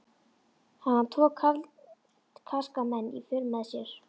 Hafði hann tvo karska menn í för með sér.